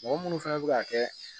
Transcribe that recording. Mɔgɔ munnu fɛnɛ bɛ ka kɛ